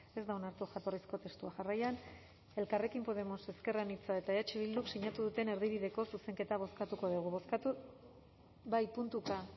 ez da onartu jatorrizko testua jarraian elkarrekin podemos ezker anitza eta eh bilduk sinatu duten erdibideko zuzenketa bozkatuko dugu bozkatu bai puntuka